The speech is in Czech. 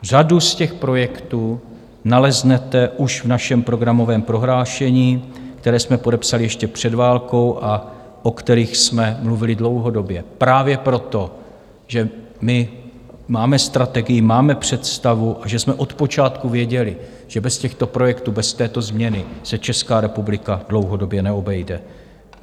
Řadu z těch projektů naleznete už v našem programovém prohlášení, které jsme podepsali ještě před válkou a o kterých jsme mluvili dlouhodobě právě proto, že my máme strategii, máme představu a že jsme od počátku věděli, že bez těchto projektů, bez této změny se Česká republika dlouhodobě neobejde.